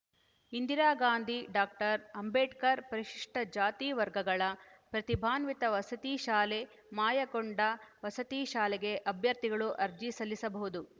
Indira Gandhi doctor Ambedkar ಪರಿಶಿಷ್ಟಜಾತಿವರ್ಗಗಳ ಪ್ರತಿಭಾನ್ವಿತ ವಸತಿ ಶಾಲೆ ಮಾಯಕೊಂಡ ವಸತಿ ಶಾಲೆಗೆ ಅಭ್ಯರ್ಥಿಗಳು ಅರ್ಜಿ ಸಲ್ಲಿಸಬಹುದು